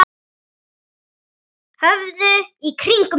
Horfðu í kringum þig!